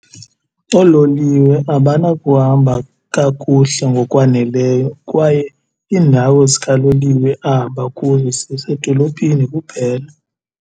Oololiwe abanakuhamba kakuhle ngokwaneleyo kwaye iindawo zikaloliwe ahamba kuzo zisedolophini kuphela.